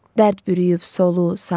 Dərd bürüyüb solu, sağı.